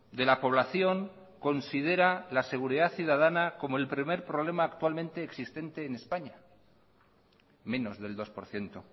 de la población considera la seguridad ciudadana como el primer problema actualmente existente en españa menos del dos por ciento